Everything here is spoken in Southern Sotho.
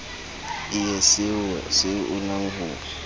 ie seoa se unang ho